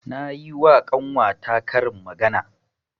Nayi wa ƙanwa ta karin magana.